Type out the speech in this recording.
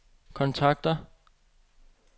kontakter